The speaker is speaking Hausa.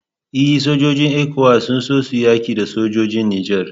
E, sojojin ECOWAS sun so su yaki sojojin Nijar